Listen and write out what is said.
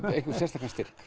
einhvern sérstakan styrk